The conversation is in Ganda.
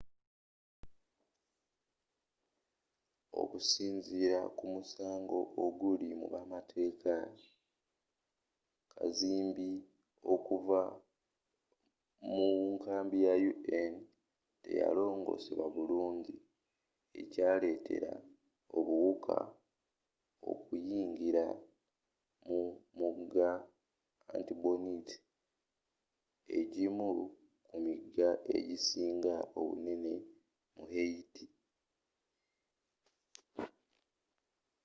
okusinziira kumusango oguli mubamateeka kazambi okuva mu nkambi ya un teyalongosebwa bulungi ekyaletera obuwuka okuyingira mu mugga artibonite egimu ku miga egisinga obunene mu haiti